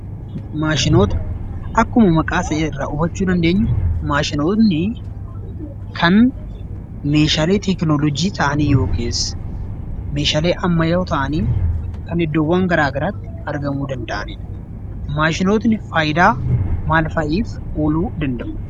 Maashinoota Akkuma maqaa isaa irraa hubachuu dandeenyu, maashinoonni kan meeshaalee teekinooloojii ta'anii yookiis meeshaalee ammayyaa'oo ta'anii kan iddoowwan gara garaatti argamuu danda'ani dha. Maashinootni faayidaa maal fa'iif ooluu danda'u?